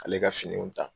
Ale ka finiw ta